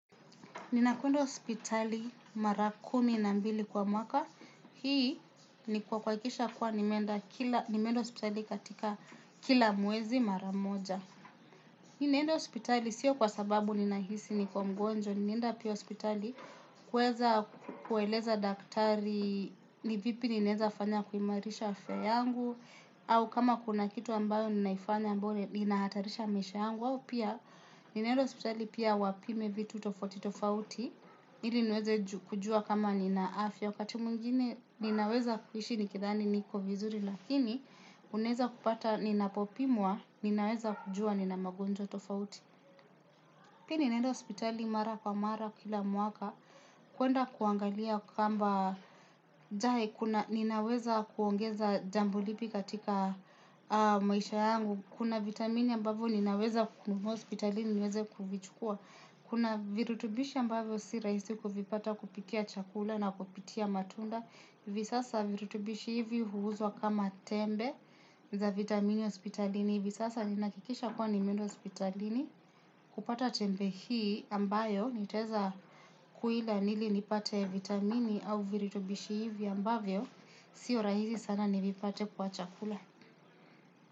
Ninakwenda hospitali mara kumi na mbili kwa mwaka, hii ni kwa kwahakikisha kuwa nimeenda hospitali katika kila mwezi mara moja. Ninaenda hospitali siyo kwa sababu nina hisi niko mgonjwa, ninaenda pia hospitali kueza kueleza daktari ni vipi ninaeza fanya kuimarisha afya yangu, au kama kuna kitu ambayo ninaifanya amboyo inahatarisha maisha yangu au pia ninaenda hospitali pia wapime vitu tofauti tofauti ili niweze kujua kama nina afya wakati mwingine ninaweza kuhishi nikithani niko vizuri lakini unaeza kupata ninapopimwa ninaweza kujua nina magonjwa tofauti pia ninaenda hospitali mara kwa mara kila mwaka kuenda kuangalia kwamba ninaweza kuongeza jambo lipi katika maisha yangu kuna vitamini ambavyo ninaweza kukununua hospitalini ninaweza kuvichukua kuna virutubishi ambavyo sirahisi kuvipata kupitia chakula na kupitia matunda visasa virutubishi hivi huuzwa kama tembe za vitamini hospitalini hivi sasa ninahakikisha kwa nimeenda hospitalini kupata tembe hii ambayo nitaweza kuila nili nipate vitamini au viritubishi hivyo ambavyo sio rahisi sana nivipate kwa chakula.